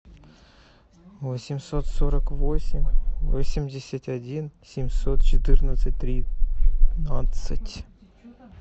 восемьсот сорок восемь восемьдесят один семьсот четырнадцать тринадцать